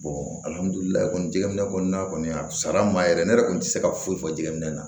alihamudulila kɔni jigiminɛ kɔni a sara n ma yɛrɛ ne yɛrɛ kɔni tɛ se ka foyi fɔ jɛgɛminɛ na